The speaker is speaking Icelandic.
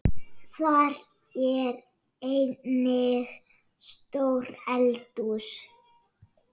Þar er einnig stórt eldhús.